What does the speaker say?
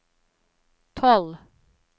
tolv